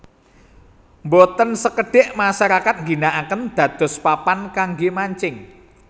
Boten sekedik masyarakat ngginakaken dados papan kangge mancing